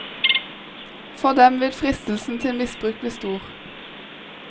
For dem vil fristelsen til misbruk bli stor.